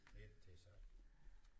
Det er ikke til at sige